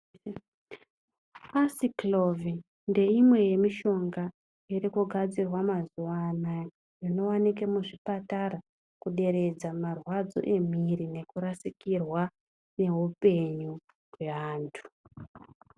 Aciclovir ndeimwe yemishonga irikugadzirwa mazuwa anaya inooneka muzvipatara kuderedza marwadzo emiri nekurasikirwa neupenyu yeanhu.